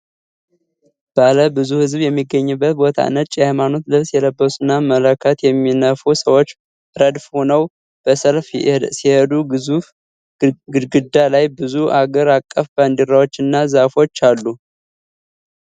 ባለ ብዙ ሕዝብ በሚገኝበት ቦታ ነጭ የሃይማኖት ልብስ የለበሱና መለከት የሚነፉ ሰዎች ረድፍ ሆነው በሰልፍ ሲሄዱ፤ ግዙፍ ግድግዳ ላይ ብዙ አገር አቀፍ ባንዲራዎችና ዛፎች አሉ።